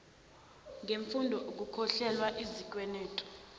ngemfundo ukukhokhelwa izikwenetu